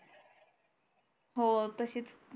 हो तशीच